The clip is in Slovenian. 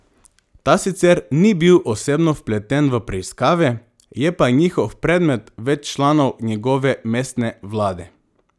Ta sicer ni bil osebno vpleten v preiskave, je pa njihov predmet več članov njegove mestne vlade.